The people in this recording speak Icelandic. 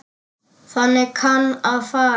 Þannig kann að fara.